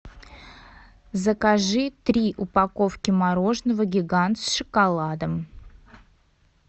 закажи три упаковки мороженого гигант с шоколадом